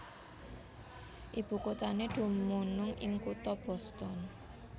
Ibukuthané dumunung ing kutha Boston